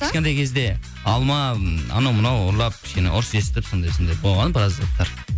кішкентай кезде алма м анау мынау ұрлап кішкене ұрыс естіп сондай сондай болған біраз заттар